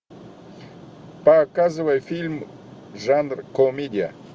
показывай фильм жанр комедия